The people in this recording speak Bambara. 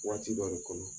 Waati dɔ le kɔnɔ